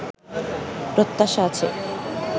প্রত্যাশা আছে